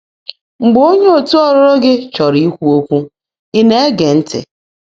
Mgbe óńyé ọ̀tú́ ọ́lụ́lụ́ gị́ chọ́ọ́ró íkwú ókwụ́, ị̀ ná-ège ntị́?